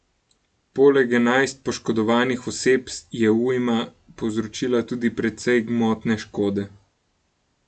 Poleg enajst poškodovanih oseb, je ujma povzročila tudi precej gmotne škode.